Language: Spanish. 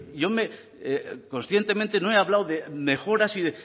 yo conscientemente no he hablado de mejoras y